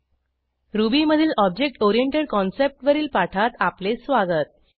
ruby मधील object oriented concept वरील पाठात आपले स्वागत